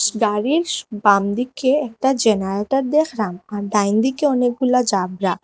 গাড়িস বামদিকে একটা জেনারেটার দেখলাম আর ডাইনদিকে অনেকগুলা জাবরা।